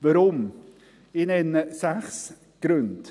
Weshalb? – Ich nenne sechs Gründe;